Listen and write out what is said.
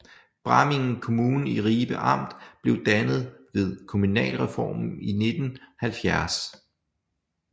Bramming Kommune i Ribe Amt blev dannet ved kommunalreformen i 1970